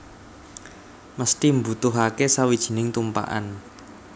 Mesthi mbutuhake sawijining tumpakan